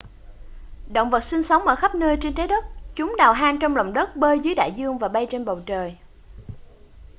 động vật sinh sống ở khắp nơi trên trái đất chúng đào hang trong lòng đất bơi dưới đại dương và bay trên bầu trời